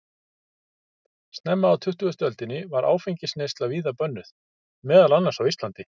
Snemma á tuttugustu öldinni var áfengisneysla víða bönnuð, meðal annars á Íslandi.